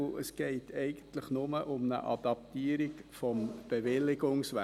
Es geht eigentlich nur um eine Adaptierung des Bewilligungswesens.